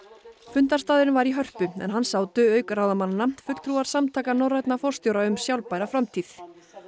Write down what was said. fundarstaðurinn var í Hörpu en hann sátu auk ráðamannanna fulltrúar Samtaka norrænna forstjóra um sjálfbæra framtíð